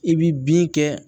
I bi bin kɛ